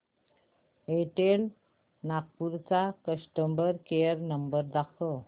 Airtel Nagpur चा customer care number दाखव